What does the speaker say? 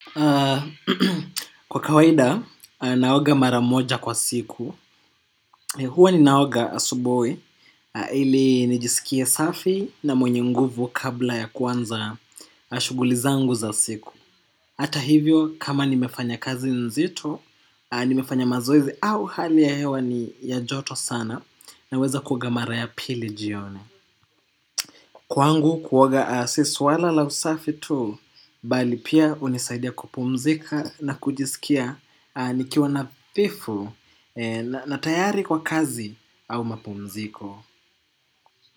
Kwa kawaida, naoga mara moja kwa siku. Hua ninaoga asubuhi, ili nijisikie safi na mwenye nguvu kabla ya kuanza shughuli zangu za siku. Hata hivyo, kama nimefanya kazi nzito, nimefanya mazoezi au hali ya hewa ni ya joto sana naweza kuoga mara ya pili jioni. Kwangu kuoga si swala la usafi tu bali pia hunisaidia kupumzika na kujisikia nikiwa nadhifu na tayari kwa kazi au mapumziko.